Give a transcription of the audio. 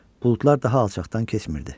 Buludlar daha alçaqdan keçmirdi.